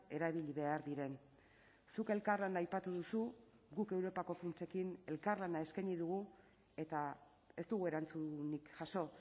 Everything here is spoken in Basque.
erabili behar diren zuk elkarlana aipatu duzu guk europako funtsekin elkarlana eskaini dugu eta ez dugu erantzunik jaso